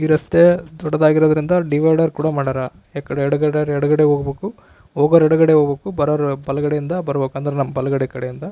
ಈ ರಸ್ತೆ ದೊಡ್ಡದಾಗಿರುವುದರಿಂದ ಡಿವೈಡರ್ ಕೂಡ ಮಾಡ್ಯಾರ ಎಡಗಡೆ ಯವ್ರು ಎಡಗಡೆ ಹೋಗ್ಬೇಕು ಹೋಗೋವವರು ಎಡಗಡೆ ಬರುವವರು ಬಲಗಡೆ ಇಂದ ಬರ್ಬೇಕು ಅಂದ್ರೆ ನಮ ಬಲಗಡೆ ಕಡೆಯಿಂದ--